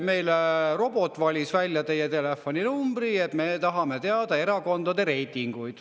"Meil robot valis välja teie telefoninumbri ja me tahame teada erakondade reitinguid.